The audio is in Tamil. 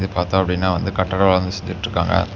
பாத்தா அப்படின்னா வந்து கட்டட வேலை வந்து செஞ்சிட்டு இருக்காங்க.